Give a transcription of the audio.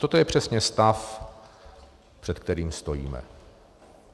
Toto je přesně stav, před kterým stojíme.